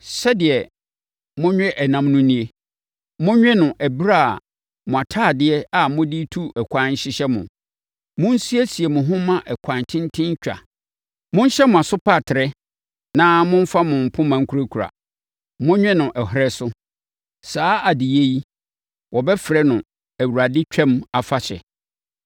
Sɛdeɛ monwe ɛnam no nie: monwe wɔ ɛberɛ a mo ntadeɛ a mode tu ɛkwan hyehyɛ mo. Monsiesie mo ho mma ɛkwan tenten twa. Monhyɛ mo asopatere na momfa mo mpoma nkurakura. Monwe no ɔherɛ so. Saa adeyɛ yi, wɔbɛfrɛ no Awurade Twam Afahyɛ.